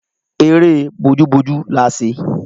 Eré bójú bójú la ṣe